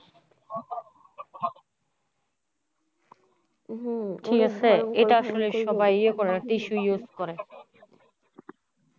হম ঠিক আছে এই কারণে সবাই tissue use করে।